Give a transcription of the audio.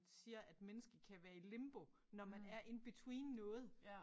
Siger at mennesket kan være i limbo når man er in between noget